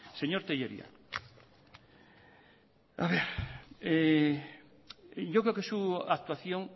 señor telleria yo creo que su actuación